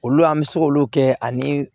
Olu an bɛ se k'olu kɛ ani